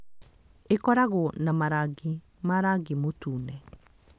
ĩkoragwo na marangi ma rangi mũtune